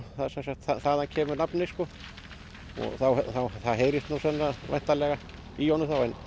þaðan kemur nafnið og það heyrist nú þá væntanlega í honum þá en